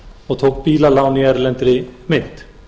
og tók bílalán í erlendri mynt